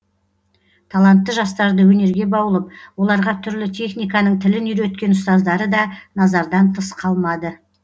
талантты жастарды өнерге баулып оларға түрлі техниканың тілін үйреткен ұстаздары да назардан тыс қалмады